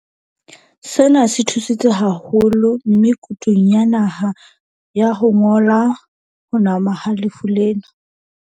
Sena se thusitse haholo me kutung ya naha ya ho ngotla ho nama ha lefu lena.